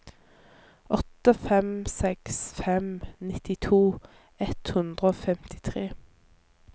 åtte fem seks fem nittito ett hundre og femtitre